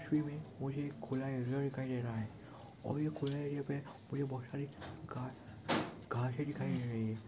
तस्वीर में मुझे एक खुला एरिया दिखाई दे रहा है और यह खुला एरिया पे मुझे बहुत सारी घा घासे दिखाई दे रही है।